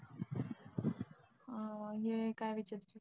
अं हे काय विचारायचं होतं,